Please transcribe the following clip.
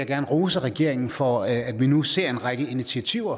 gerne rose regeringen for at vi nu ser en række initiativer